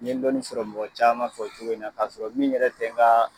N ye dɔnni sɔrɔ mɔgɔ caman fɛ o cogo in na k'a sɔrɔ min yɛrɛ tɛ n ka